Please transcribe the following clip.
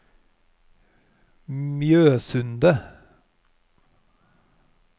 Mjosundet